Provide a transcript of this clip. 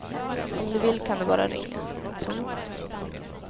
Om du vill kan du bara ringa. punkt